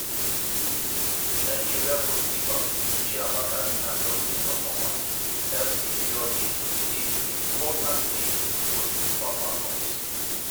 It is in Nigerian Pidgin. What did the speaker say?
nigeria goalkeeper chiamaka nnadozie performance help secure dis dis important win for di super falcons.